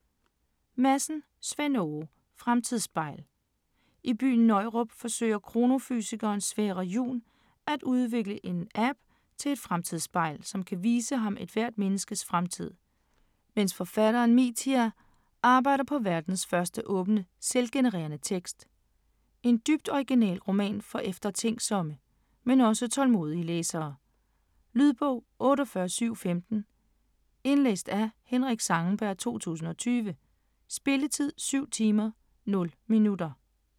Madsen, Svend Åge: Fremtidsspejl I byen Nøjrup forsøger kronofysikeren Sverre Jun at udvikle en app, et "fremtidsspejl", som kan vise ham ethvert menneskes fremtid, mens forfatteren Mithya arbejder på verdens første åbne, selvgenerende tekst. En dybt original roman for eftertænksomme, men også tålmodige læsere. Lydbog 48715 Indlæst af Henrik Zangenberg, 2020. Spilletid: 7 timer, 0 minutter.